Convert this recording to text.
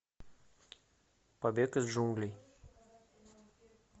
побег из джунглей